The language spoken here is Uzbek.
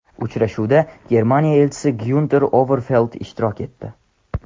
Uchrashuvda Germaniya Elchisi Gyunter Overfeld ishtirok etdi.